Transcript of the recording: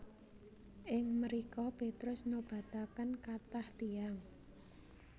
Ing mrika Petrus nobataken kathah tiyang